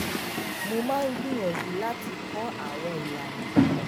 mo máa ń gbìyànjú láti kó àwọn ilana